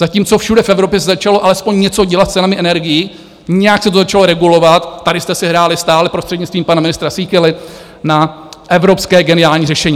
Zatímco všude v Evropě se začalo alespoň něco dělat s cenami energií, nějak se to začalo regulovat, tady jste si hráli stále prostřednictvím pana ministra Síkely na evropské geniální řešení.